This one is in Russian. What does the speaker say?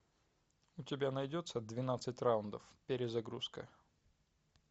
у тебя найдется двенадцать раундов перезагрузка